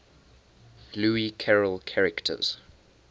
lewis carroll characters